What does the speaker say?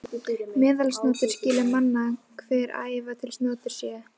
Meðalsnotur skyli manna hver, æva til snotur sé.